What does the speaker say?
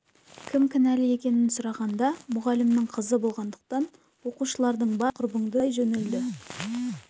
кім кінәлі екенін сұрағанда мұғалімнің қызы болғандықтан оқушылардың барлығы бірауыздан құрбыңды кәналай жөнелді